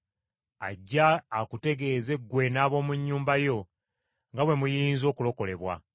ajje akutegeeze ggwe n’ab’omu nnyumba yo nga bwe muyinza okulokolebwa!’